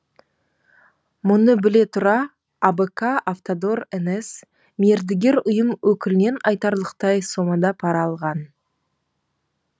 мұны біле тұра абк автодор нс мердігер ұйым өкілінен айтарлықтай сомада пара алған